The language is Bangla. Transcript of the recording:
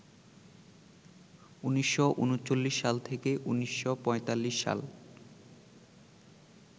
১৯৩৯-১৯৪৫ সাল